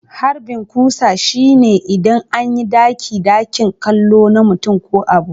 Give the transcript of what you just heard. Harbin kusa shine idan an yi ɗaki-dakin kallo na mutum ko abu.